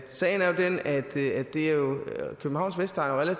sagen er jo den at københavns vestegn er